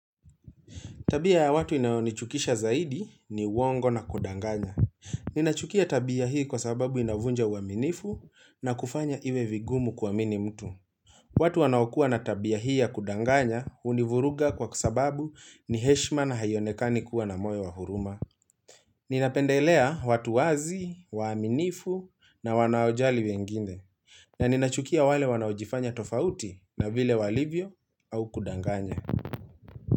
Tabia ya watu inao nichukisha zaidi ni uwongo na kudanganya. Ninachukia tabia hii kwa sababu inavunja uaminifu na kufanya iwe vigumu kuamini mtu. Watu wanaokua na tabia hii ya kudanganya hunivuruga kwa sababu ni heshima na haionekani kuwa na moyo wa huruma. Ninapendelea watu wazi, waaminifu na wanaojali wengine. Na ninachukia wale wanaojifanya tofauti na vile walivyo au kudanganya.